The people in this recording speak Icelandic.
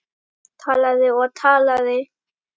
Talaði og talaði.